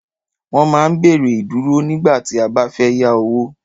Wọ́n máa ń béèrè Ìdúró nígbà tí a bá fẹ́ yá owó